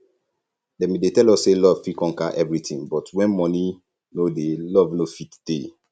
dem bin dey tell us say love fit conquer everything but when money no dey love no fit dey